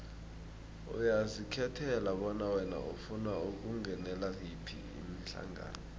uyazikhethela bona wena ufuna ukungenela yiphi ihlangano